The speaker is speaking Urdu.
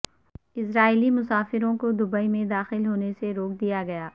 اسرائیلی مسافروں کو دبئی میں داخل ہونے سے روک دیاگیا